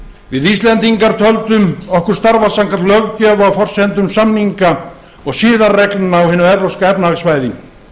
við íslendingar töldum okkur starfa samkvæmt löggjöf á forsendum samninga og siðareglna á hinu evrópska efnahagssvæði